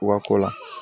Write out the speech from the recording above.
Wa kɔ la